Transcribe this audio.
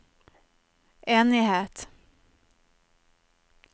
enighet